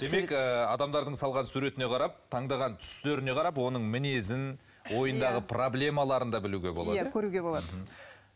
демек ы адамдардың салған суретіне қарап таңдаған түстеріне қарап оның мінезін ойындағы проблемаларын да білуге болады иә көруге болады